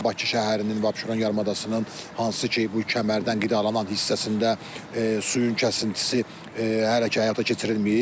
Bakı şəhərinin və Abşeron yarımadasının hansı ki, bu kəmərdən qidalanan hissəsində suyun kəsintisi hələ ki həyata keçirilməyib.